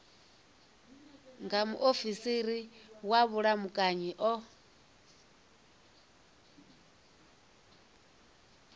nga muofisiri wa vhulamukanyi o